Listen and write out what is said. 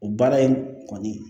O baara in kɔni